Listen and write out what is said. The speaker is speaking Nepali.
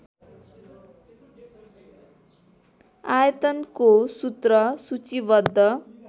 आयतनको सूत्र सूचीबद्ध